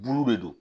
Buuru de don